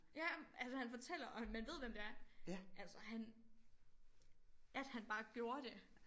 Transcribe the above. Ja altså han fortæller og han man ved hvem det er altså han at han bare gjorde det